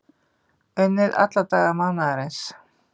Unnið alla daga mánaðarins